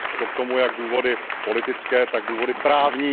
Jsou k tomu jak důvody politické, tak důvody právní.